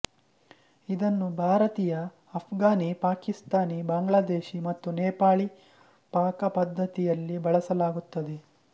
ಇದನ್ನು ಭಾರತೀಯ ಅಫ಼್ಘಾನಿ ಪಾಕಿಸ್ತಾನಿ ಬಾಂಗ್ಲಾದೇಶಿ ಮತ್ತು ನೇಪಾಳಿ ಪಾಕಪದ್ಧತಿಯಲ್ಲಿ ಬಳಸಲಾಗುತ್ತದೆ